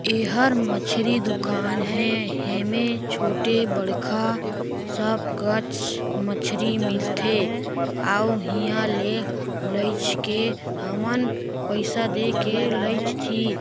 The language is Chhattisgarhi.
एहर मछरी दुकान है हेमें छोटे बड़खा सब कच मछरी मिलथे आउ इहाँ ले लइच के हमन पैसा दे के लैछ थी।